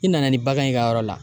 I nana ni bagan ye i ka yɔrɔ la